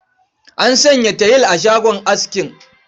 An sanya tayil a shagon askin.